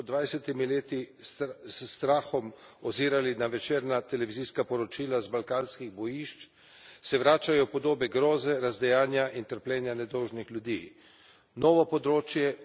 Za nas, ki smo se pred več kot dvajsetimi leti s strahom ozirali na večerna televizijska poročila z balkanskih bojišč, se vračajo podobe groze, razdejanja in trpljenja nedolžnih ljudi.